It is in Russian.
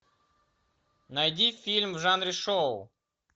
найди фильм в жанре шоу